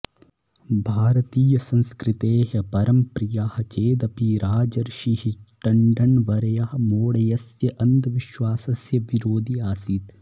भारतीयसंस्कृतेः परमप्रियः चेदपि राजर्षिः टण्डन्वर्यः मौढ्यस्य अन्धविश्वासस्य विरोधी आसीत्